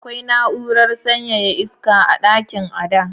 Akwai na’urar sanyaya iska a dakin Ada.